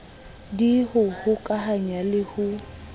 d ho hokahanya le ho